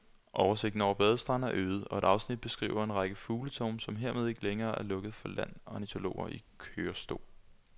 Oversigten over badestrande er øget, og et afsnit beskriver en række fugletårne, som hermed ikke længere er lukket land for ornitologer i kørestol.